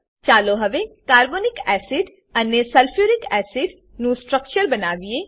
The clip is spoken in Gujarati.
ચાલો હવે કાર્બોનિક એસિડ કાર્બોનિક એસિડ અને સલ્ફ્યુરિક એસિડ સલ્ફ્યુરિક એસિડ નું સ્ટ્રક્ચર બનાવીએ